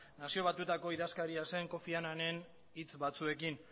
nazio batuetako idazkaria zen kofi annanen hitz batzuekin